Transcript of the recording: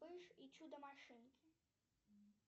вспыш и чудо машинки